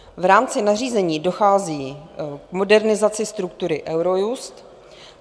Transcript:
V rámci nařízení dochází k modernizaci struktury Eurojust.